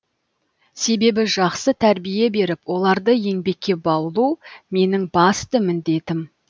себебі жақсы тәрбие беріп оларды еңбекке баулу менің басты міндетім